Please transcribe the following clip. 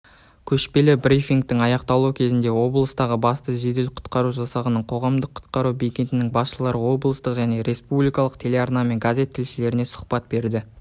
көшпелі брифингтің аяқталуы кезінде облыстың бастығы жедел-құтқару жасағының қоғамдық құтқару бекетінің басшылары облыстық және республикалық телеарна мен газет тілшілеріне сұхбат берді